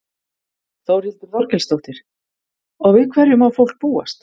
Þórhildur Þorkelsdóttir: Og við hverju má fólk búast?